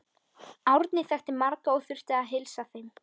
Árni þekkti marga og þurfti að heilsa þeim.